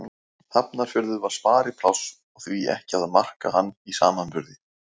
Hafnarfjörður var sparipláss og því ekki að marka hann í samanburði.